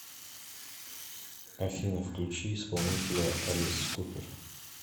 афина включи исполнителя элис купер